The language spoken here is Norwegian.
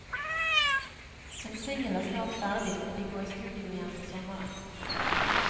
En single er snart ferdig, og de går i studio igjen til sommeren.